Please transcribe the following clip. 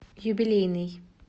юбилейный